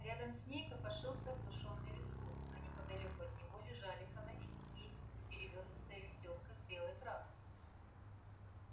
рядом с ней копошился оглушённый визгун а неподалёку от него лежали фонарь кисть и перевёрнутое ведёрко с белой краской